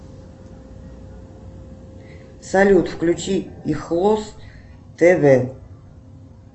салют включи ихлост тв